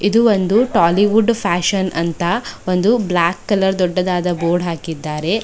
ಇದು ಒಂದು ಟಾಲಿವುಡ್ ಫ್ಯಾಷನ್ ಅಂತ ಒಂದು ಬ್ಲಾಕ್ ಕಲರ್ ದೊಡ್ಡದಾದ ಬೋರ್ಡ್ ಹಾಕಿದ್ದಾರೆ.